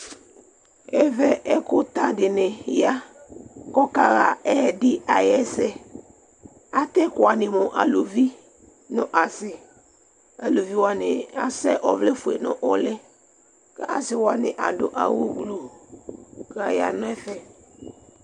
ɛvɛ ɛkʋ ta dini ya kʋ ɔka ha ɛdi ayɛsɛ, atɛ ɛkʋ wani mʋ alʋvi nʋ asii, alʋvi wani asɛ ɔvlɛ ƒʋɛ nʋ ʋli kʋ asii wani adʋ awʋ blue kʋ ayanʋ ɛƒɛ